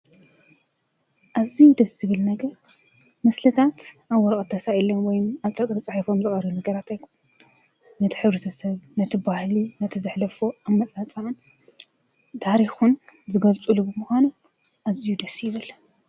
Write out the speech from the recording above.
እዙይ ድ ስብል ነገር ምስልታት ኣወሮኦ ኣተሳኤለ ወይም ኣጠቕር ፃሒፎም ዝቕሩ ነገራት ኣይኮ ነቲ ኅብሪተሰብ ነቲ በህሊ ነቲዘኅለፎ ኣብመፃፃዓን ዳሪኹን ዝገልጹ ልብ ምኾነ እዙይ ድስይብል